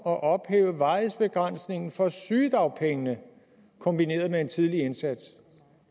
at ophæve varighedsbegrænsningen for sygedagpengene kombineret med en tidlig indsats